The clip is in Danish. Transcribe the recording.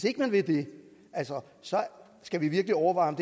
ikke vil det skal vi virkelig overveje